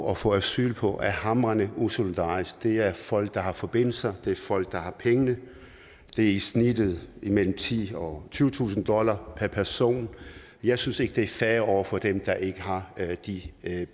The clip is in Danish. og får asyl på er hamrende usolidarisk det er folk der har forbindelser det er folk der har pengene det er i snittet mellem titusind og tyvetusind dollar per person jeg synes ikke at det er fair over for dem der ikke har de